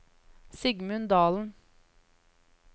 Sigmund Dahlen